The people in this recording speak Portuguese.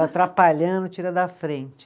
Atrapalhando, tira da frente.